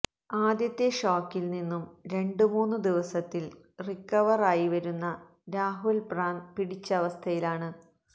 ആദ്യത്തെ ഷോക്കില് നിന്നും രണ്ടുമൂന്നു ദിവസത്തില് റിക്കവര് ആയിവരുന്ന രാഹുല് പ്രാന്ത് പിടിച്ച അവസ്ഥയില് ആണ്